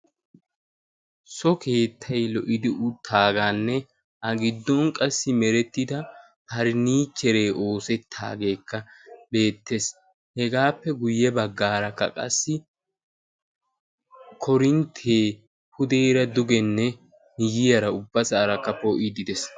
so keettay lo77idi uttaagaanne a giddon qassi merettida parnnicheree oosettaageekka beettees. hegaappe guyye baggaarakka qassi korinttee pudeera dugenne miyiyaara ubbasaarakka poo77iddi de7ees.